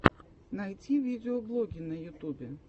найти видеоблоги на ютубе